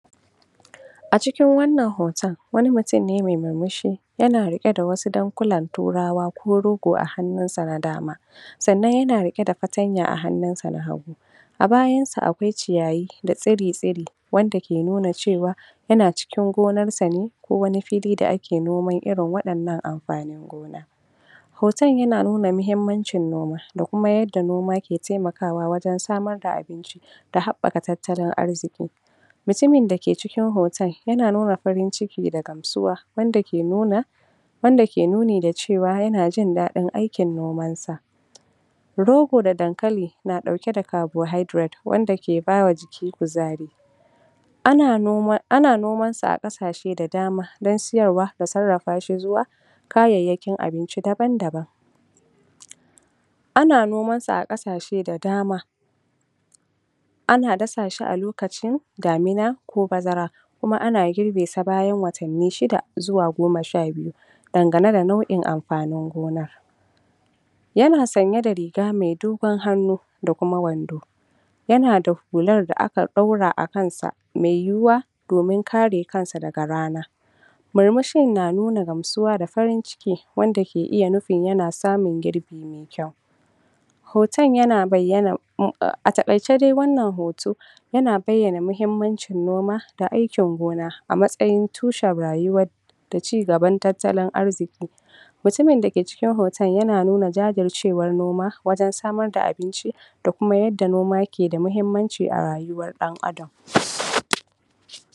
a cikin wannan hoton wani mutum ne mai murmushi yana riƙe da wasu dankulan turawa ko rogo a hannun sa na dama sannan yana riƙe da fatanya a hannun sa na hagu a bayan sa akwai ciyayi da tsiri tsiri wanda ke nuna cewa yana cikin gonar sa ne ko wani fili da ake noman irin waɗannan amfanin gona hoton yana nuna mahimmancin noma da kuma yanda noma ke taimakawa wajen samar da abinci da haɓɓaka tattalin arziƙi mutumin da ke cikin hoton yana nuna farin ciki da gamsuwa wanda ke nuna wanda ke nuni da cewa yana jindaɗin aikin noman sa rogo da dankali na ɗauke da kabohaidiret wanda ke ba wa jiki kuzari ana noman ana noman sa a ƙasashe da dama da siyarwa da sarrafa shi zuwa kayayyakin abinci daban daban ana noman sa a ƙasashe da dama ana dafa shi a lokacin damina ko bazara kuma ana girbe sa bayan watanni shida zuwa goma sha biyu dangane na nau'in amfanin gona yana sanye da riga mai dogon hannu da kuma wando yana da hular da aka ɗaura a kan sa mai yiwuwa domin kare kansa daga rana murmushin na nuna gamsuwa da farin ciki wanda ke iya nufin yana samun girbi me kyau hoton yana bayyana ahh a taƙaice dai wannan hoto yana bayyana mahimmancin noma da aikin gona a matsayin tushen rayuwa da cigaban tattalin arziƙi mutumin da ke cikin hoton yana nuna jajircewan noma wajen samar da abinci da kuma yanda noma ke da mahimmanci a rayuwan ɗan adam